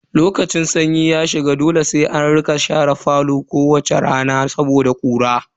Lokacin sanyi ya shiga dole sai an rika share falo kowace rana saboda ƙura.